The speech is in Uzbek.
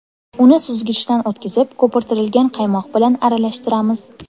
Uni suzgichdan o‘tkizib, ko‘pirtirilgan qaymoq bilan aralashtiramiz.